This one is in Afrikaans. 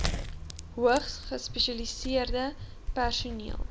hoogs gespesialiseerde personeel